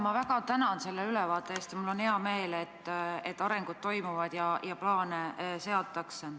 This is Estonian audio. Ma väga tänan selle ülevaate eest ja mul on hea meel, et arengud toimuvad ja plaane tehakse.